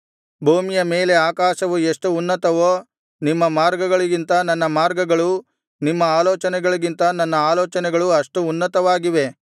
ಭೂಮಿಯ ಮೇಲೆ ಆಕಾಶವು ಎಷ್ಟು ಉನ್ನತವೋ ನಿಮ್ಮ ಮಾರ್ಗಗಳಿಗಿಂತ ನನ್ನ ಮಾರ್ಗಗಳೂ ನಿಮ್ಮ ಆಲೋಚನೆಗಳಿಗಿಂತ ನನ್ನ ಆಲೋಚನೆಗಳೂ ಅಷ್ಟು ಉನ್ನತವಾಗಿವೆ